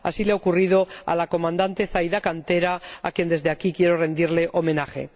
Así le ha ocurrido a la comandante Zaida Cantera, a quien desde aquí quiero rendir homenaje.